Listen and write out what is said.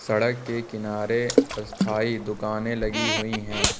सड़क के किनारे स्थायी दुकानें लगी हुई है।